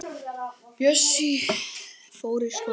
Bjössi fór í skólann en